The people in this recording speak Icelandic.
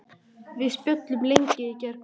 Við spjölluðum lengi í gærkvöldi.